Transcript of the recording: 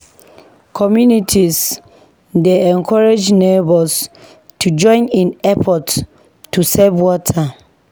Communities dey encourage neighbors to join in efforts to save water.